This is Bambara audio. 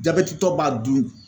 Jabɛtitɔ b'a dun